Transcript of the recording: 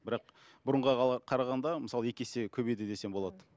бірақ бұрынға қарағанда мысалы екі есе көбейді десем болады